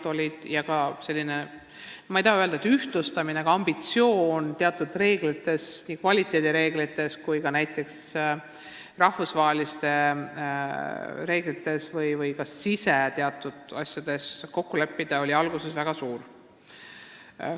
Ma ei taha öelda, et see oli ühtlustamise soov, aga ambitsioon kokku leppida teatud reeglites – kvaliteedireeglites omavahel, aga ka rahvusvahelistes reeglites – oli alguses väga suur.